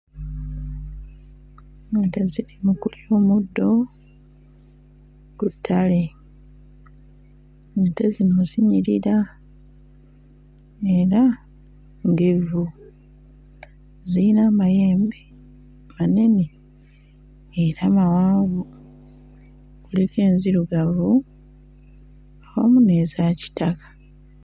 Ente ziri mu kulya omuddo ku ttale. Ente zino zinyirira era ngevvu. Ziyina amayembe manene era mawanvu, kuliko enzirugavu awamu ne zakitala.